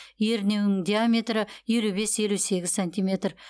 ернеуінің диаметрі елу бес елу сегіз сантиметр